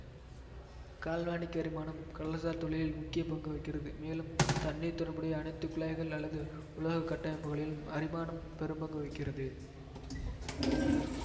galvanic அரிமானம் கடல்சார் தொழிலில் முக்கிய பங்கு வகிக்கிறது மேலும் தண்ணீர் தொடர்புடைய அனைத்து குழாய்கள் அல்லது உலோக கட்டமைப்புகளிலும் அரிமானம் பெரும்பங்கு வகிக்கிறது